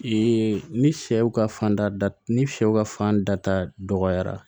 ni sɛw ka fan da ni sɛw ka fan da dɔgɔyara